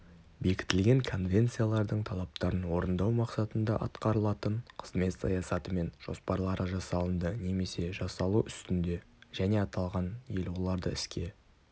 бекітілген конвенциялардың талаптарын орындау мақсатында атқарылатын қызмет саясаты мен жоспарлары жасалынды немесе жасалу үстінде және аталған ел оларды іске